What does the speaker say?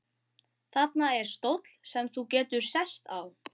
Þarna er stóll sem þú getur sest á.